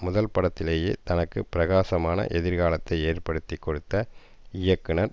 முதல் படத்திலேயே தனக்கு பிரகாசமான எதிர்காலத்தை ஏற்படுத்தி கொடுத்த இயக்குனர்